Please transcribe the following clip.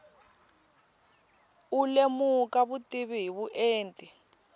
u lemuka vutivi hi vuenti